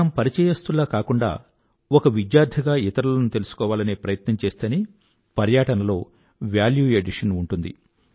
మనం పరిచయస్థుల్లా కాకుండా ఒక విద్యార్థిగా ఇతరులను తెలుసుకోవాలనే ప్రయత్నం చేస్తేనే పర్యాటనలో వేల్యూ ఎడిషన్ ఉంటుంది